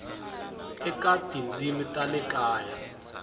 eka tindzimi ta le kaya